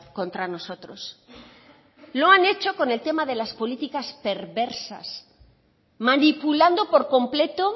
contra nosotros lo han hecho con el tema de las políticas perversas manipulando por completo